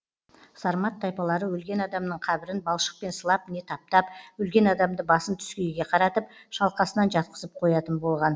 сармат тайпалары өлген адамның қабірін балшықпен сылап не таптап өлген адамды басын түскейге қаратып шалқасынан жатқызып қоятын болған